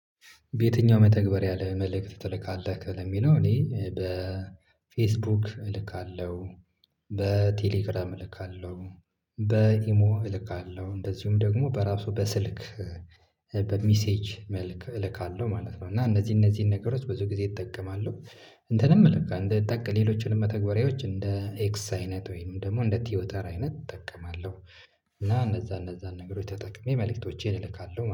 በየትኛው መተግበር ለ መልእክት ትልካለህ ለሚለው እኔ በፌስቡክ እልካለሁ በቴሌግራም እልካለሁ በኢሞ እልካለሁ እንደዚሁም ደግሞ በራሱ በስልክ በሚሴጅ እልካለሁ ማለት ነው። እና እነዚህ እነዚህን ነገሮች ብዙ ጊዜ እጠቀማለሁ። እንትንም እለካ እንደ ጠቅ ሌሎችንም መተግበሪያዎች እንደ ኤክስ አይነት ወይም ደግሞ እንደ ቲዮተር አይነት እጠቀማለሁ። እና እነዚያን እነዚያን ነገሮች ተጠቅሜ መልእክቶቼን እልካለሁ